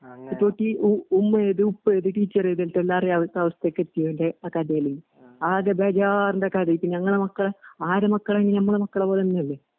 എപോക്കീ ഉ ഉമ്മയേത്, ഉപ്പയേത്, റ്റീച്ചറേതെക്കെ എല്ലാറെയവസ് അവസ്ഥക്കെത്തിയേന്റെ ആകഥയില്. ആദ്യബെജാറിന്റെകഥെ പിഞ്ഞങ്ങടെമക്കള് ആറ്മക്കള്ഞ്ഞമ്മടെമക്കള്പോലെതന്നെയല്ലെ.